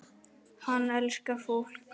Hann elskar fólk.